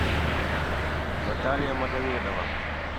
наталья магомедова